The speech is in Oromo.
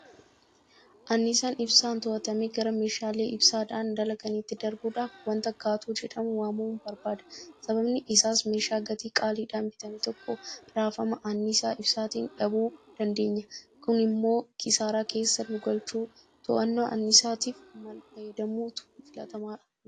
Anniisaan ibsaa to'atamee gara meeshaalee ibsaadhaan dalaganiitti darbuudhaaf waanta Gaatoo jedhamee waamamu barbaada. Sababni isaas meeshaa gatii qaaliidhaan bitame tokko raafama anniisaa ibsaatiin dhabuu dandeenya. Kunimmoo kisaaraa keessa nugalcha. To'annaa anniisaatiif maalfayyadamuutu filatamaadha jettu?